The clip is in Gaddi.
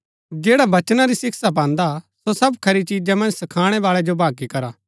जैडा वचना री शिक्षा पान्दा हा सो सब खरी चिजा मन्ज सखाणै बाळै जो भागी करा